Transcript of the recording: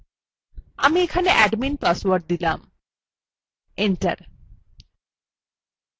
আমি এখানে admin password দিলাম enter